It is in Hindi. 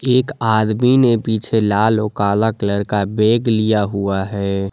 एक आदमी ने पीछे लाल और काला कलर का बैग लिया हुआ है।